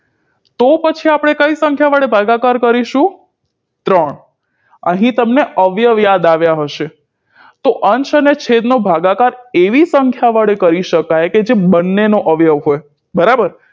તો પછી આપણે કઈ સંખ્યા વડે ભાગાકાર કરીશું ત્રણ અહીં તમને અવ્યવ યાદ આવ્યા હશે તો અંશ અને છેદનો ભાગાકાર એવી સંખ્યા વડે કરી શકાય કે જે બંનેનો અવ્યવ હોય